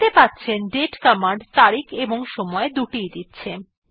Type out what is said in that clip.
দেখতে পাচ্ছেন date command তারিখ এবং সময় দুটি ই দিচ্ছে